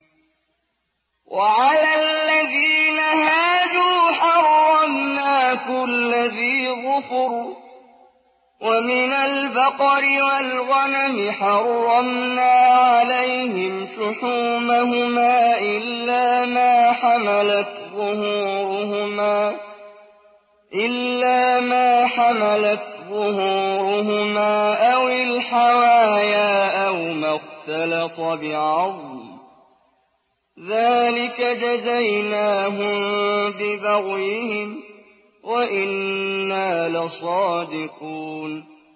وَعَلَى الَّذِينَ هَادُوا حَرَّمْنَا كُلَّ ذِي ظُفُرٍ ۖ وَمِنَ الْبَقَرِ وَالْغَنَمِ حَرَّمْنَا عَلَيْهِمْ شُحُومَهُمَا إِلَّا مَا حَمَلَتْ ظُهُورُهُمَا أَوِ الْحَوَايَا أَوْ مَا اخْتَلَطَ بِعَظْمٍ ۚ ذَٰلِكَ جَزَيْنَاهُم بِبَغْيِهِمْ ۖ وَإِنَّا لَصَادِقُونَ